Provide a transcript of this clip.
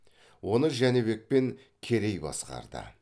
оны жәнібек пен керей басқарды